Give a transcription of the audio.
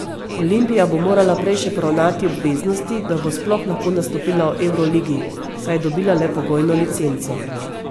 Olimpija bo morala prej še poravnati obveznosti, da bo sploh lahko nastopila v evroligi, saj je dobila le pogojno licenco.